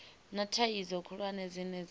na thaidzo khulwane dzine dza